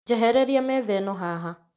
Njehereria metha ĩno haha